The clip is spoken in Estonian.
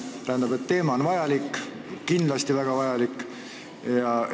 Tähendab, teema on oluline, kindlasti väga oluline!